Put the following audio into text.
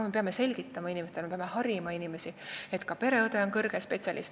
Me peame harima inimesi, me peame neile selgitama, et ka pereõde on kõrge spetsialist.